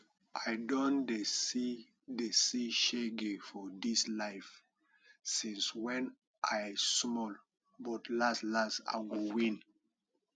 i don dey see dey see shege for dis life since wen i small but las las i go win